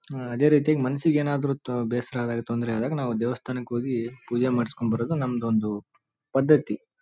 ಆ ಅದೇ ರೀತಿ ಮನ್ಸಿಗೆ ಏನಾದ್ರು ತೊ ಬೇಸ್ರ ಆದಾಗ ತೊಂದ್ರೆ ಆದಾಗ ನಾವು ದೇವಸ್ಥಾನಕ್ಕೆ ಹೋಗಿ ಪೂಜೆ ಮಾಡ್ಸ್ಕೊಂಬರೋದು ನಮ್ದೊಂದು ಪದ್ದತಿ.